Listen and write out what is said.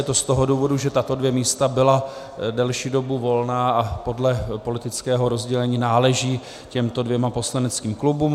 Je to z toho důvodu, že tato dvě místa byla delší dobu volná a podle politického rozdělení náleží těmto dvěma poslaneckým klubům.